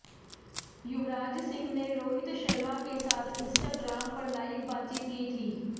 युवराज सिंह ने रोहित शर्मा के साथ इंस्टाग्राम पर लाइव बातचीत की थी